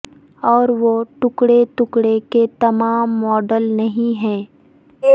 اور وہ ٹکڑے ٹکڑے کے تمام ماڈل نہیں ہے